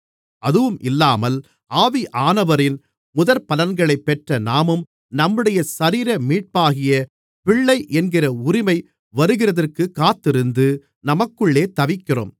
அதுவும் இல்லாமல் ஆவியானவரின் முதற்பலன்களைப் பெற்ற நாமும் நம்முடைய சரீர மீட்பாகிய பிள்ளை என்கிற உரிமை வருகிறதற்குக் காத்திருந்து நமக்குள்ளே தவிக்கிறோம்